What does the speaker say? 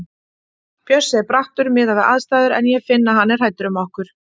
Bjössi er brattur miðað við aðstæður en ég finn að hann er hræddur um okkur.